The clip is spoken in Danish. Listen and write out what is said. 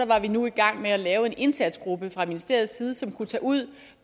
var vi nu i gang med at lave en indsatsgruppe fra ministeriets side som kunne tage ud